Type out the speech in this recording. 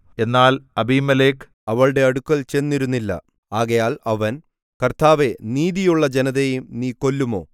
എന്നാൽ അബീമേലെക്ക് അവളുടെ അടുക്കൽ ചെന്നിരുന്നില്ല ആകയാൽ അവൻ കർത്താവേ നീതിയുള്ള ജനതയെയും നീ കൊല്ലുമോ